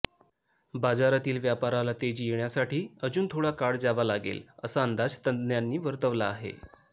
बाजारातील व्यापाराला तेजी येण्यासाठी अजून थोडा काळ जावा लागेल असा अंदाज तज्ञांनी वर्तवला आहे